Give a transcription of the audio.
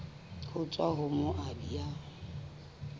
ho tswa ho moabi ya